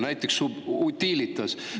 Näiteks võib tuua Utilitase.